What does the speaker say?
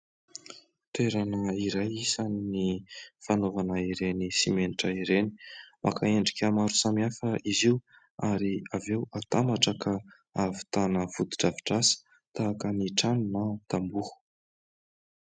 Toerana iray isany fanaovana ireny simenitra ireny ; maka endrika maro samihafa izy io ary avy eo atambatra ka havitana foto-drafitr'asa tahaka ny trano na tamboho.